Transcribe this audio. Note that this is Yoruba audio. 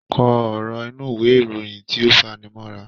Kọ ọ̀rọ̀ inú ìwé ìròyìn tí ó fani mọ́ra.